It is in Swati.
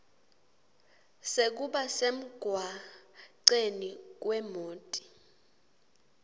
sekuba semgwaceni kwemoti